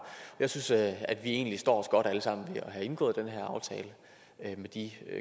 jeg synes at at vi egentlig står os godt alle sammen ved at have indgået den her aftale med de